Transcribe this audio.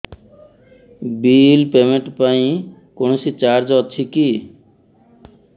bill payment ପାଇଁ କୌଣସି charge ଅଛି କି